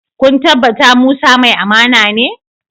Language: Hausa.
Kun tabbata Musa mai amana ne?